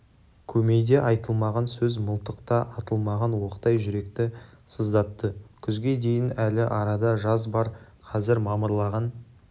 көмейде айтылмаған сөз мылтықта атылмаған оқтай жүректі сыздатты күзге дейін әлі арада жаз бар қазір мамырлаған